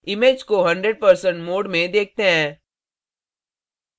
image को 100% mode में देखते हैं